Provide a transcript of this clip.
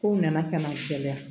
Kow nana ka na cɛya